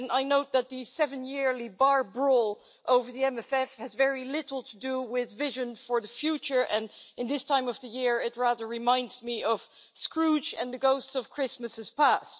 I note that the seven-yearly bar brawl over the MFF has very little to do with vision for the future and, at this time of the year, it rather reminds me of Scrooge and the ghosts of Christmases past.